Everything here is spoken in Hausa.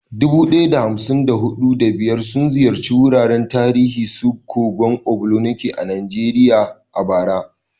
Dubu ɗaya da hamsin da huɗu, da biyar sun ziyarci wuraren tarihi irin su kogon Ogbunike a Najeriya a bara.